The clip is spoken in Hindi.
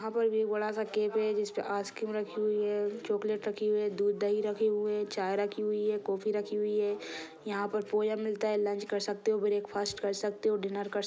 यहा पर भी एक बड़ा सा कॅफे है जिसमे आइस क्रीम रखी हुई है चॉक्लेट रखी हुई है दूध दही रखी हुए है चाय रखी हुई है कॉफी रखी हुई है यहा पर पोया मिलता है लंच कर सकते हो ब्रेक फास्ट कर सकते हो डिनर कर--